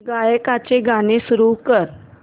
गायकाचे गाणे सुरू कर